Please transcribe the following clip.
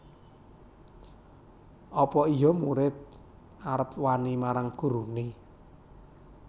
Apa iya murid arep wani marang gurune